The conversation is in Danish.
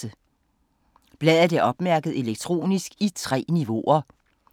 Bladet er opmærket elektronisk i 3 niveauer.